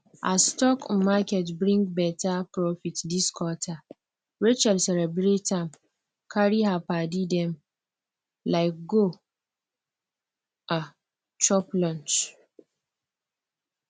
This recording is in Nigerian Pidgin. as stock um market bring better profit this quarter rachel celebrate am carry her padi dem um go um chop lunch